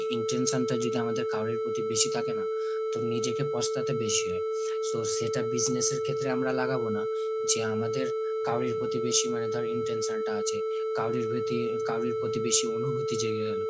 intention টা যদি আমাদের কাউরির প্রতি বেশি থাকে না তো নিজেকে পস্তাতে বেশি হয়। so সেটা business এর ক্ষেত্রে আমরা লাগাবো না। যে আমাদের কাউরির প্রতি বেশি মানে ধর intention টা আছে, কাউরির প্রতি কাউরির প্রতি বেশি অনুভূতি জেগে গেল,